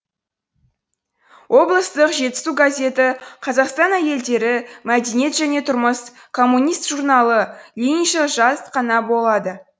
облыстық жетісу газеті қазақстан әйелдері мәдениет және тұрмыс коммунист журналы лениншіл жас қана болады